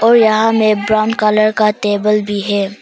और यहां में ब्राउन कलर का टेबल भी है।